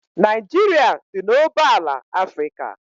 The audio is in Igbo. Naijiria dị n'oboala Afrịka.